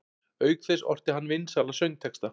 Auk þess orti hann vinsæla söngtexta.